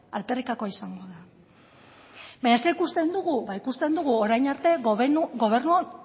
alferrikakoa izango da baina zer ikusten dugu ba ikusten dugu orain arte gobernua